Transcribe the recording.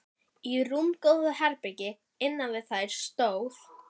Í rúmgóðu herbergi innan við þær stóð